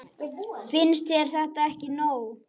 Finnst þér þetta ekki nóg?